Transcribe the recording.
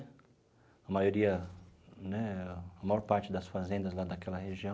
A maioria né, a maior parte das fazendas lá daquela região